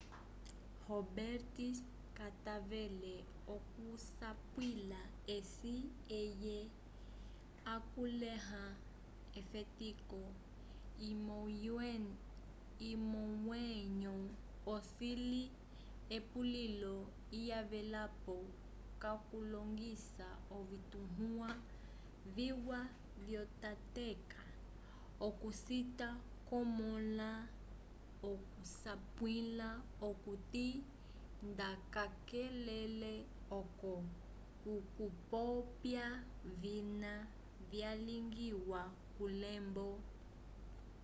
roberts katavele okusapwila eci eye akulĩha efetiko lyomwenyo ocili epulilo lyavelapo k'okulongisa ovituwa viwa vyotateka okucita kwomõla okusapwila okuti nda kacakalele oco okupopya vina vyalingiwa kulembo